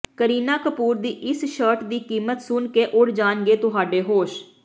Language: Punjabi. ਕਰੀਨਾ ਕਪੂਰ ਦੀ ਇਸ ਸ਼ਰਟ ਦੀ ਕੀਮਤ ਸੁਣਕੇ ਉੱਡ ਜਾਣਗੇ ਤੁਹਾਡੇ ਹੋਸ਼